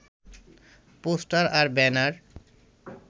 poster আর banner